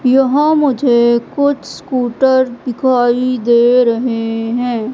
यहां मुझे कुछ स्कूटर दिखाई दे रहे हैं।